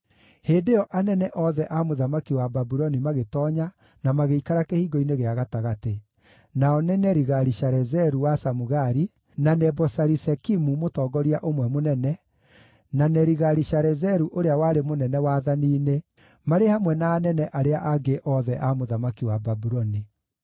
Hĩndĩ ĩyo anene othe a mũthamaki wa Babuloni magĩtoonya na magĩikara Kĩhingo-inĩ gĩa Gatagatĩ: Nao nĩ Nerigali-Sharezeru wa Samugari, na Nebo-Sarisekimu mũtongoria ũmwe mũnene, na Nerigali-Sharezeru ũrĩa warĩ mũnene wathani-inĩ, marĩ hamwe na anene arĩa angĩ othe a mũthamaki wa Babuloni.